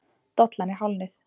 Dollan er hálfnuð.